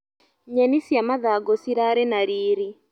Nyeni cia mathangũ cirarĩ na riri.